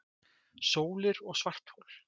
Sólir og svarthol